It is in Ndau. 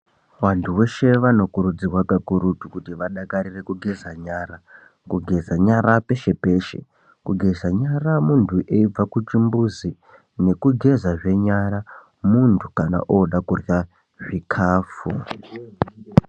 Vantu veshe vanokurudzirwa kakurutu kuti vadakarire kugeza nyara. Kugeza nyara peshe-peshe. Kugeza nyara munhu eibva kuchimbuzi nekugezazve nyara munhu kana ooda kurya zvikafu.